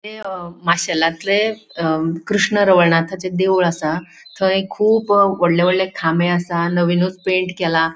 थय माशेलातले अ कृष्ण रवळनाथाचे देऊळ असा थय खूब वोडले वोडले खामे असा आणि नविनूच पेंट केला.